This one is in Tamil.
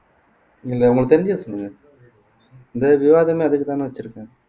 நீங்க உங்களுக்கு தெரிஞ்சதை சொல்லுங்க இந்த விவாதமே அதுக்குத்தானே வச்சிருக்கோம்